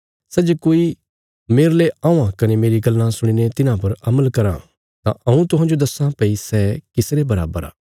सै जे कोई मेरले औआं कने मेरी गल्लां सुणीने तिन्हां पर अमल कराँ तां हऊँ तुहांजो दस्सां भई सै किस रे बराबर आ